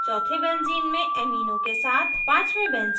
पाँचवें benzene ethyl के साथ